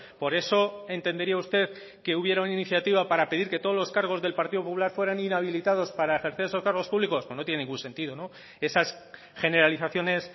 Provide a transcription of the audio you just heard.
por eso entendería usted que hubiera una iniciativa para pedir que todos los cargos del partido popular fueran inhabilitados para ejercer esos cargos públicos pues no tiene ningún sentido esas generalizaciones